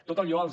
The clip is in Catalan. tot allò els